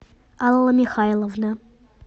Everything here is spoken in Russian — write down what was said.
алла михайловна